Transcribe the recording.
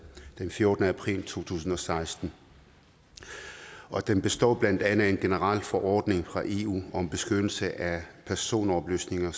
den fjortende april to tusind og seksten og den består blandt andet af en generel forordning fra eu om beskyttelse af personoplysninger